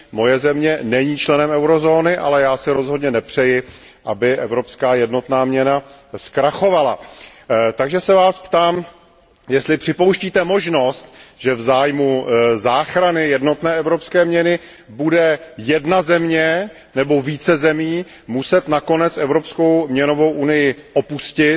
Moje země není členem eurozóny, ale já si rozhodně nepřeji, aby evropská jednotná měna zkrachovala. Takže se Vás ptám, jestli připouštíte možnost, že v zájmu záchrany jednotné evropské měny bude muset jedna země nebo více zemí nakonec Evropskou měnovou unii opustit,